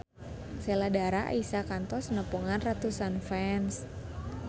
Sheila Dara Aisha kantos nepungan ratusan fans